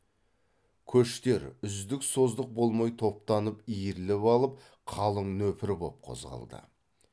көштер үздік создық болмай топтанып иіріліп алып қалың нөпір боп қозғалды